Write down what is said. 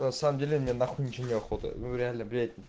на самом деле мне нахуй ничего не охота реально блять